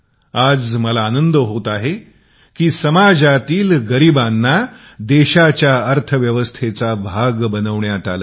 आज मला आनंद होत आहे की समाजातील गरिबांना देशाच्या अर्थव्यवस्थेचा हिस्सा बनवण्यात आले आहे